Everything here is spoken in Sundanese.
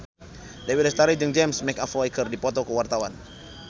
Dewi Lestari jeung James McAvoy keur dipoto ku wartawan